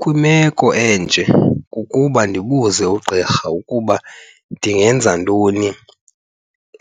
Kwimeko enje kukuba ndibuze ugqirha ukuba ndingenza ntoni